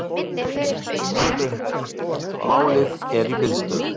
Málið er í biðstöðu